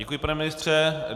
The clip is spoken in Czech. Děkuji, pane ministře.